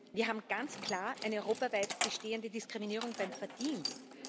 Wir haben ganz klar eine europaweit bestehende Diskriminierung beim Verdienst.